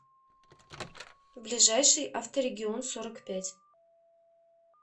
ближайший авторегион сорок пять